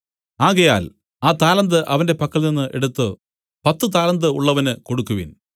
ആകയാൽ ആ താലന്ത് അവന്റെ പക്കൽനിന്ന് എടുത്തു പത്തു താലന്ത് ഉള്ളവന് കൊടുക്കുവിൻ